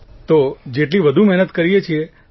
તો જેટલી વધુ મહેનત કરીએ છીએ